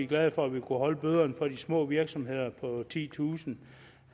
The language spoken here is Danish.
glade for at vi kunne holde bøderne på de små virksomheder på titusind